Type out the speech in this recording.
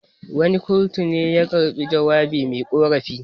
Wani kurtu ne ya dauki jawabin me ƙorafin.